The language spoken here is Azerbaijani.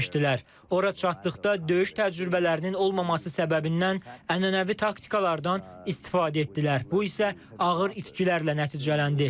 Oraya çatdıqda döyüş təcrübələrinin olmaması səbəbindən ənənəvi taktikalardan istifadə etdilər, bu isə ağır itkilərlə nəticələndi.